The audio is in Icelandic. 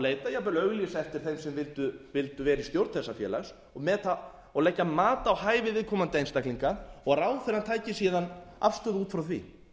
auglýsa eftir þeim sem vildu vera í stjórn þessa félags og leggja mat á hæfi viðkomandi einstaklinga og ráðherrann tæki síðan afstöðu út frá því